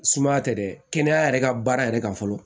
Sumaya tɛ dɛ kɛnɛya yɛrɛ ka baara yɛrɛ kan fɔlɔ